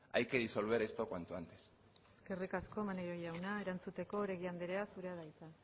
hay que disolver esto cuanto antes eskerrik asko maneiro jauna erantzuteko oregi andrea zurea da hitza